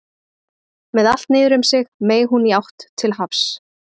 Með allt niður um sig meig hún í átt til hafs.